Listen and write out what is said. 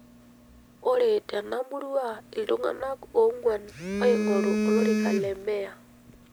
ore tena murua, iltung'ana oonguan oingoru olorika le meya.